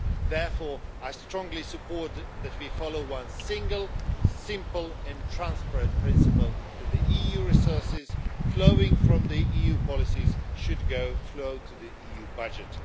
Therefore, I strongly support that we follow one single, simple and transparent principle that EU resources flowing from EU policies should flow to the EU budget.